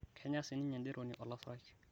kenya sininye ederoni olasurai